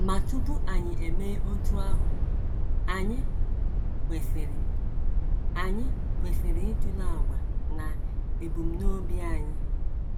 Ma tupu anyị emee otú ahụ, anyị kwesịrị, anyị kwesịrị ịtụle àgwà na ebumnobi anyị.